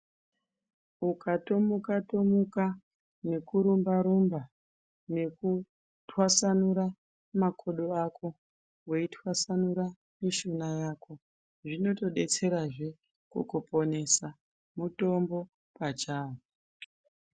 Ukatomuka-tomuka nekurumba-rumba, nekutwasanura makodoako, weitwasanura mishuna yako, zvinotodetserazve kukuponesa, mutombo pachawo.